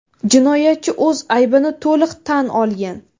Jinoyatchi o‘z aybini to‘liq tan olgan.